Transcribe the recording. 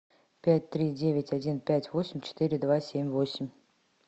пять три девять один пять восемь четыре два семь восемь